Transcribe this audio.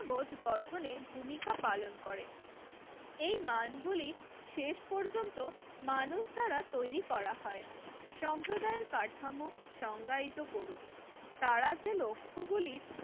বোধ গঠনে ভূমিকা পালন করে এই মানগুলি শেষ পর্যন্ত মানুষ দ্বারা তৈরি করা হয়। সম্প্রদায়ের কাঠামো সংজ্ঞায়িত করুন, তারা যে লক্ষ্য গুলির